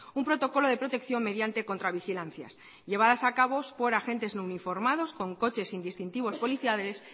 un protocolo de protección mediante contravigilancias llevadas a cabo por agente no uniformados con coches sin distintivo policiales